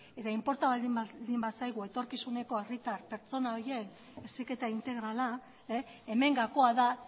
eta inporta baldin bazaigu etorkizuneko herritar pertsona horiek heziketa integrala hemen gakoa da